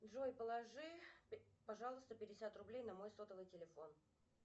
джой положи пожалуйста пятьдесят рублей на мой сотовый телефон